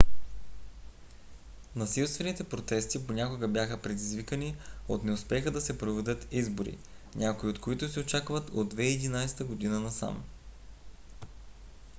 насилствените протести понякога бяха предизвиквани от неуспеха да се проведат избори някои от които се очакват от 2011 година насам